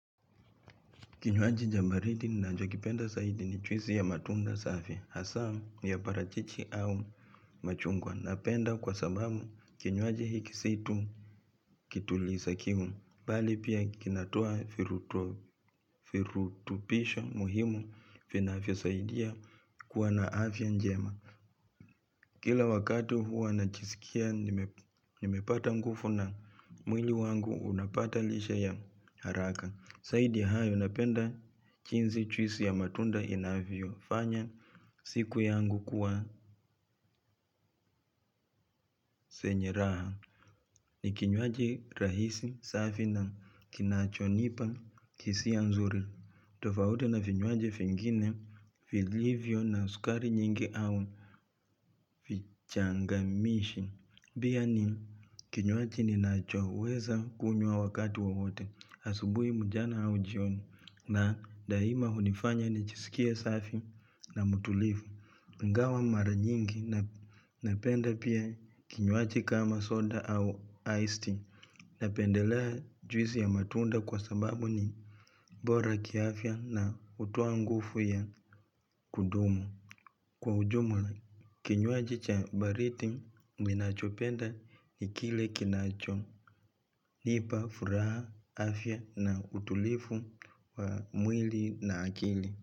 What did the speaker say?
Kinywaji cha baridi ninachokipenda zaidi ni juisi ya matunda safi, hasa ya parachichi au machungwa. Napenda kwa sababu kinywaji hiki si tu kituliza kiu, bali pia kinatoa virutubisho muhimu vinavyosaidia kuwa na afya njema. Kila wakati huwa najisikia nimepata nguvu na mwili wangu unapata lishe ya haraka. Zaidi hayo napenda jinsi juisi ya matunda inavyofanya siku yangu kuwa zenye raha ni kinywaji rahisi, safi na kinachonipa hisia nzuri, tofauti na vinywaji vingine vilivyo na sukari nyingi au vichangamishi. Pia ni kinywaji ninachoweza kunywa wakati wowote asubuhi mchana au jioni. Na daima hunifanya nijiskie safi na mtulivu. Ingawa mara nyingi napenda pia kinywaji kama soda au iced tea. Napendelea juisi ya matunda kwa sababu ni bora kiafya na hutoa nguvu ya kudumu. Kwa ujumla, kinywaji cha baridi ninachopenda ni kile kinacho. Nipa furaha afya na utulivu wa mwili na akili.